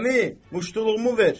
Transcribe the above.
Əmi, muştuluğumu ver!